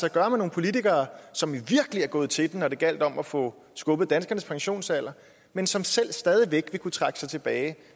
at gøre med nogle politikere som virkelig er gået til den når det gjaldt om at få skubbet danskernes pensionsalder men som selv stadig væk vil kunne trække sig tilbage